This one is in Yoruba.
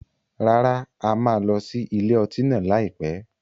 Rárá, a máa lọ sí ilé ọtí náà lai pẹ̀.